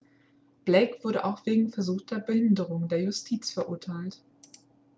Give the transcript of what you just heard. blake wurde auch wegen versuchter behinderung der justiz verurteilt